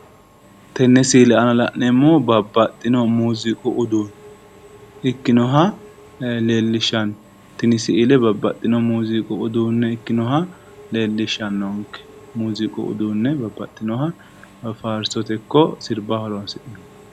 Tine misile aana la'neemmoti Muziiqu uduune ikkasi leellishanonke